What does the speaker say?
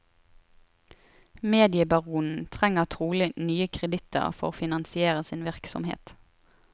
Mediebaronen trenger trolig nye kreditter for å finansiere sin virksomhet.